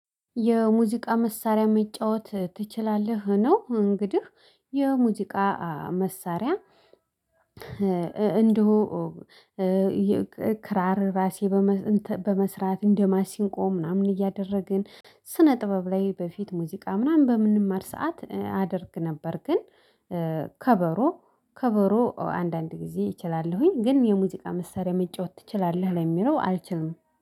የሙዚቃ መሳሪያ መጫወት ትችላለህ? ነው እንግዲህ የሙዚቃ መሳሪያ እንዲሁ ክራር ራሴ በመስራት እንደማሲንቆ ምናምን እያደረግን ስነ ጥበብ ላይ በፊት ሙዚቃ ምናምን በምንማር ሰዓት አደርግ ነበር። ግን ከበሮ ከበሮ አንዳንድ ጊዜ እችላለሁኝ ግን የሙዚቃ መሳሪያ መጫወት ትችላለህ ለሚለው አልችልም